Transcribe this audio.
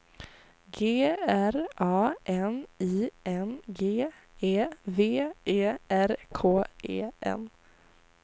G R A N I N G E V E R K E N